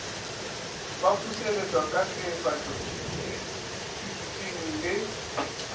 baputseletšwa ka teefatšo instithušene le